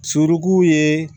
Suruku ye